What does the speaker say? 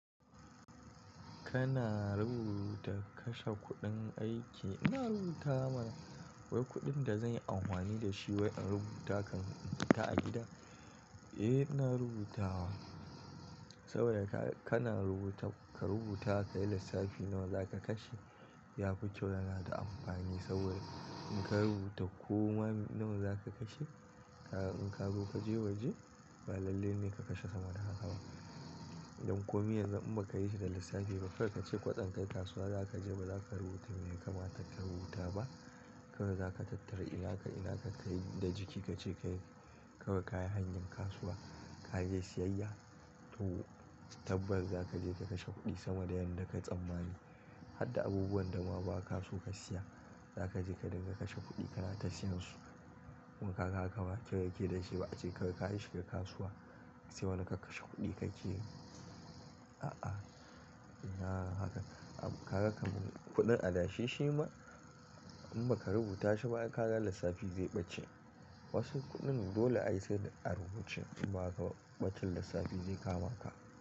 Kana rubuta kashe kuɗin aiki? Ina rubuta mana wai kuɗin da zan yi amfani da shi wai in rubuta kan rubuta a gida? Eh, ina rubuta wa. Saboda haka kana rubuta ka rubuta ka yi lissafi nawa za ka kashe. Yafi kyau yana da amfani saboda in ka rubuta koma nawa za ka kashe, in ka zo ka je waje ba lalle ne ka kashe sama da haka ba. Dan ko miyanzu in ba ka yi shi da lissafi ba, kai ka ce ƙwan kai kasuwa za ka je ba za ka rubuta mai kama takan rubuta ba. Kaawai za ka tattara ina ka, ina ka ka yi da jiki ka ce ka kai kayan hanyar kasuwa ka je siyayya. To, tabbas za ka je ka kashe kuɗi sama da yadda ka tsammani. Hadda abubuwan da ma ba ka so ka siya za ka je ka dinga kashe kuɗi kana tashi nasu. To kaga haka ba kyau yake da shi ba ace ka kai shi ga kasuwa sai wani ka kashe kuɗi ka ke yin. A'a, ina yin haka. Kaga kaman kuɗin adashe shi ma in ba ka rubuta shi ba, ka ga lissafi zai ɓace. Wasu kuɗin dole ayi sai da a rubuce ba ka ɓacin lissafi zai kama ka.